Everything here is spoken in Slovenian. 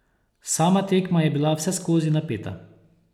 Sama tekma je bila vseskozi napeta.